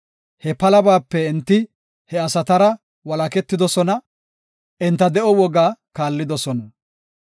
He palabaape, enti he asatara walaketidosona; enta de7o woga kaallidosona.